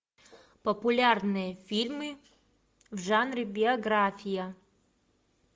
популярные фильмы в жанре биография